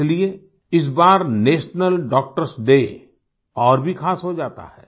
इसलिए इस बार नेशनल डॉक्टर्स डे और भी ख़ास हो जाता है